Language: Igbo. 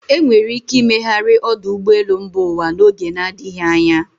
Enwere ike imegharị ọdụ ụgbọelu mba ụwa n'oge na adịghị anya.